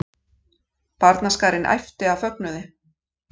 Barnaskarinn æpti af fögnuði.